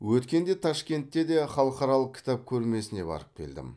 өткенде ташкентке де халықаралық кітап көрмесіне барып келдім